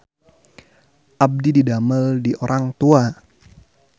Abdi didamel di Orang Tua